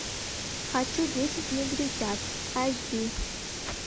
хочу десять негритят айч ди